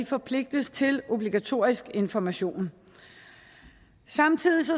forpligtes til obligatorisk information samtidig